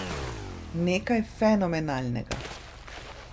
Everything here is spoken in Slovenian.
Nekaj fenomenalnega!